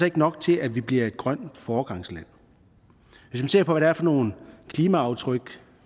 ikke nok til at vi bliver et grønt foregangsland hvis man ser på hvad det er for nogle klimaaftryk